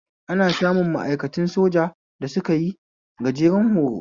Ana samun ma'aikatan soja da sukayi gajeren horo